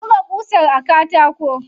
Buga ƙusar a katako.